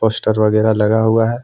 Poster वगैरह लगा हुआ है।